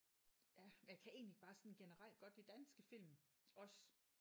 Ja men jeg kan egentlig bare sådan generelt godt lide danske film også